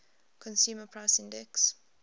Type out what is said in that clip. consumer price index